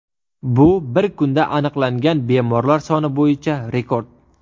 Bu bir kunda aniqlangan bemorlar soni bo‘yicha rekord.